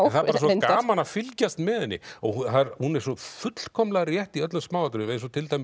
það er bara svo gaman að fylgjast með henni og hún er svo fullkomlega rétt í öllum smáatriðum til dæmis